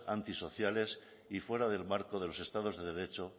antisociales y fuera del marco de los estados de derecho